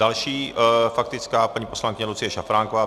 Další faktická - paní poslankyně Lucie Šafránková.